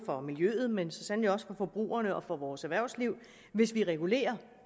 for miljøet men så sandelig også for forbrugerne og vores erhvervsliv hvis vi regulerer